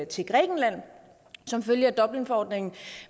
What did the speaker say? til grækenland som følge af dublinforordningen